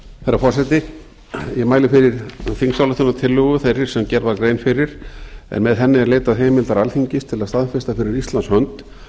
herra forseti ég mæli fyrir þingsályktunartillögu þeirri sem gerð var grein fyrir en með henni er leitað heimildar alþingis til að að staðfesta fyrir íslands hönd